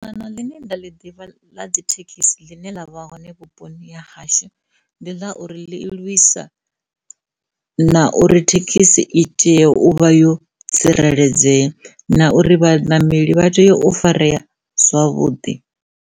Dzangano ḽine nda ḽi ḓivha dzi thekhisi ḽine ḽa vha hone vhuponi ha hashu ndi ḽa uri ḽi lwisa na uri thekhisi itea uvha yo tsireledzea na uri vhanameli vha tea u farea zwavhuḓi.